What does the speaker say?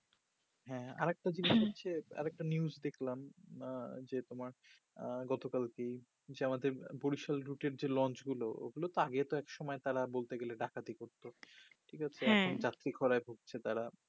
হ্যা আরেকটা জিনিস হচ্ছে আরেকটা news দেখলাম আঃ যে তোমার আঃ গতকালকেই যে আমাদের বরিশাল রুটের যে lonch গুলো ওগুলো তো আগে তো একসময় তারা একসময় ডাকাতি করতো ঠিকআছে হ্যা এখন ডাকটি খরায় ভুগছে তারা